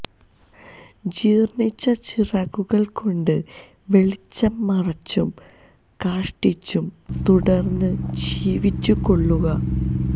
ജീർണ്ണിച്ച ചിറകുകൾ കൊണ്ട് വെളിച്ചം മറച്ചും കാഷ്ടിച്ചും തുടർന്ന് ജീവിച്ചുകൊള്ളുക